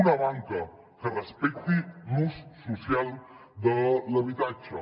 una banca que respecti l’ús social de l’habitatge